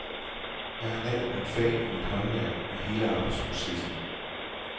Jeg har lært mit fag og mit håndværk og hele arbejdsprocessen.